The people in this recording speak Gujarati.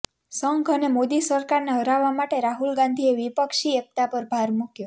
સંઘ અને મોદી સરકારને હરાવવા માટે રાહુલ ગાંધીએ વિપક્ષી એક્તા પર ભાર મૂક્યો